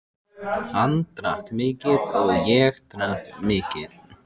Hann drakk mikið og ég drakk mikið.